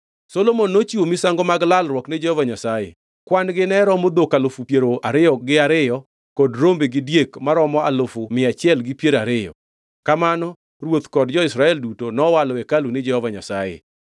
Solomon nochiwo misango mag lalruok ni Jehova Nyasaye: kwan-gi ne romo dhok alufu piero ariyo gi ariyo kod rombe gi diek maromo alufu mia achiel gi piero ariyo. Kamano ruoth kod jo-Israel duto nowalo hekalu ni Jehova Nyasaye.